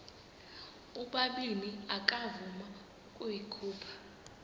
ubabini akavuma ukuyikhupha